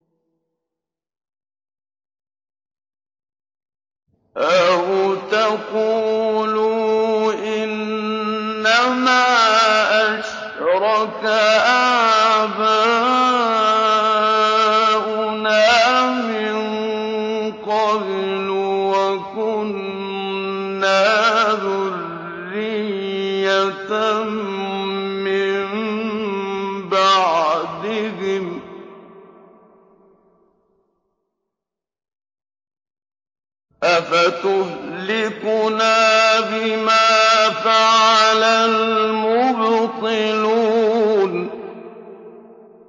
أَوْ تَقُولُوا إِنَّمَا أَشْرَكَ آبَاؤُنَا مِن قَبْلُ وَكُنَّا ذُرِّيَّةً مِّن بَعْدِهِمْ ۖ أَفَتُهْلِكُنَا بِمَا فَعَلَ الْمُبْطِلُونَ